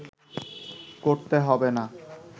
করতে হবে না